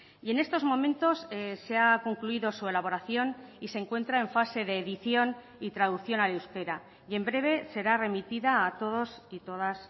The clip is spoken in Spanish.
y en estos momentos se ha concluido su elaboración y se encuentra en fase de edición y traducción al euskera y en breve será remitida a todos y todas